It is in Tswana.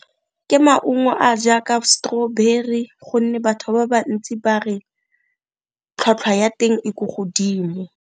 Ke maungo a jaaka strawberry gonne batho ba bantsi ba re tlhwatlhwa ya teng e ko godimo.